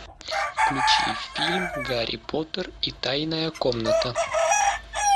включи фильм гарри поттер и тайная комната